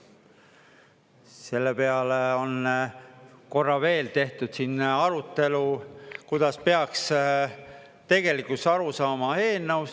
Selle peale on korra veel tehtud siin arutelu, kuidas peaks tegelikult aru saama eelnõust.